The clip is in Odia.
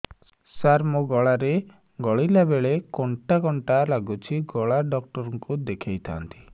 ସାର ମୋ ଗଳା ରେ ଗିଳିଲା ବେଲେ କଣ୍ଟା କଣ୍ଟା ଲାଗୁଛି ଗଳା ଡକ୍ଟର କୁ ଦେଖାଇ ଥାନ୍ତି